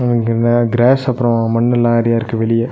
இங்கென்னா grass அப்றோ மண்ணுலா நறையா இருக்கு வெளிய.